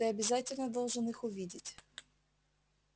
ты обязательно должен их увидеть